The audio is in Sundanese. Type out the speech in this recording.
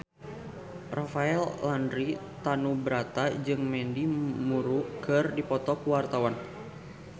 Rafael Landry Tanubrata jeung Mandy Moore keur dipoto ku wartawan